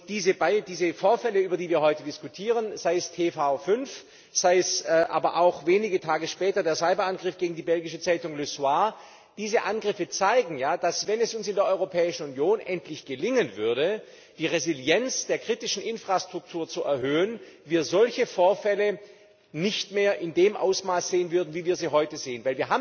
Diese Vorfälle, über die wir heute diskutieren sei es TV5, sei es aber auch wenige Tage später der Cyberangriff gegen die belgische Zeitung Le Soir diese Angriffe zeigen ja, dass wir, wenn es in uns in der Europäischen Union endlich gelingen würde, die Resilienz der kritischen Infrastruktur zu erhöhen, solche Vorfälle nicht mehr in dem Ausmaß sehen würden, wie wir sie heute sehen.